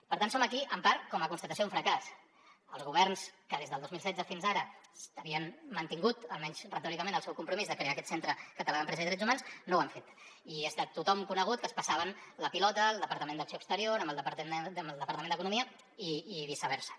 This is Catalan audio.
per tant som aquí en part com a constatació d’un fracàs els governs que des del dos mil setze fins ara havien mantingut almenys retòricament el seu compromís de crear aquest centre català d’empresa i drets humans no ho han fet i és de tothom conegut que es passaven la pilota el departament d’acció exterior amb el departament d’economia i viceversa